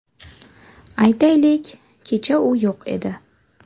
Aytaylik, kecha u yo‘q edi.